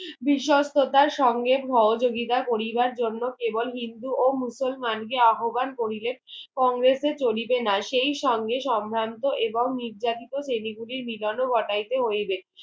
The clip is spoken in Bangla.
বিশ্সাতার সঙ্গে সহযোগিতা করিবার জন্য কেবল হিন্দু ও মুসলমান কে আহব্বান করিলেন কংগ্রেসে চলিবে না সেই সঙ্গে সম্ভ্রান্ত এবং নির্যাতিত সেগুলির মিলনও ঘটাইতে হইবে